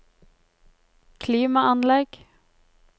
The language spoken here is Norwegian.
klimaanlegg